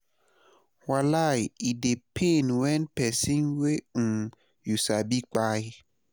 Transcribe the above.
wallai e dey pain wen pesin wey um yu sabi kpai